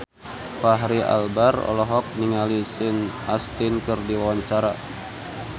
Fachri Albar olohok ningali Sean Astin keur diwawancara